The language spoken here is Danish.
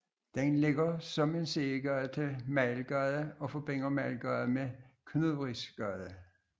Den ligger som en sidegade til Mejlgade og forbinder Mejlgade med Knudrisgade